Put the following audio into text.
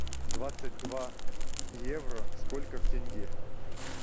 двадцать два евро сколько в тенге